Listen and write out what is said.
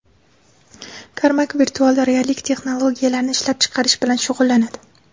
Karmak virtual reallik texnologiyalarini ishlab chiqarish bilan shug‘ullanadi.